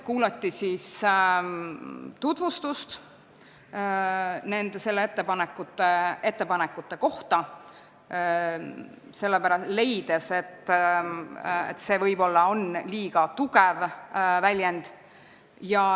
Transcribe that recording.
Kuulati nende ettepanekute tutvustust ja leiti, et selles lõigus on võib-olla liiga tugev väljend.